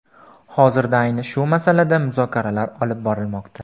Hozirda ayni shu masalada muzokaralar olib borilmoqda.